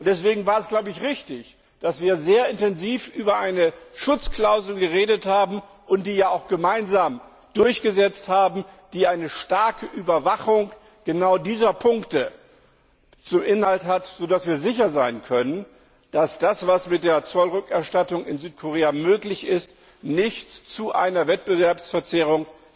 Deswegen war es richtig, dass wir sehr intensiv über eine Schutzklausel geredet und diese auch gemeinsam durchgesetzt haben, die eine starke Überwachung genau dieser Punkte zum Inhalt hat, sodass wir sicher sein können, dass das, was mit der Zollrückerstattung in Südkorea möglich ist, nicht zu einer Wettbewerbsverzerrung